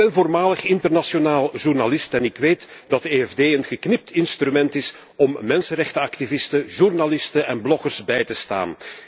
Ik ben voormalig internationaal journalist en ik weet dat het EFD een geknipt instrument is om mensenrechtenactivisten, journalisten en bloggers bij te staan.